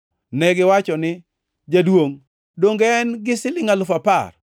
“Negiwacho ni, ‘Jaduongʼ donge en-gi silingʼ alufu apar.’